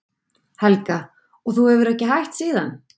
Helga: Og þú hefur ekki hætt síðan?